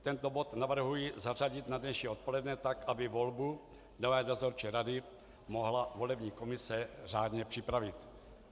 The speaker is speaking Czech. Tento bod navrhuji zařadit na dnešní odpoledne tak, aby volbu člena dozorčí rady mohla volební komise řádně připravit.